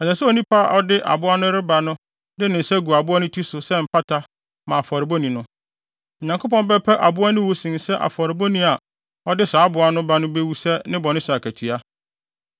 Ɛsɛ sɛ onipa a ɔde aboa no reba no de ne nsa gu aboa no ti so sɛ mpata ma afɔrebɔni no. Onyankopɔn bɛpɛ aboa no wu sen sɛ afɔrebɔni a ɔde saa aboa no bɛba no bewu sɛ ne bɔne so akatua.